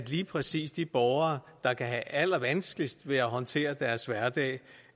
lige præcis de borgere der kan have allervanskeligst ved at håndtere deres hverdag